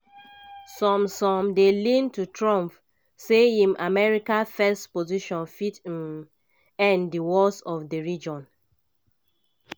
some some dey lean to trump say im "america first" position fit um end di wars for di region.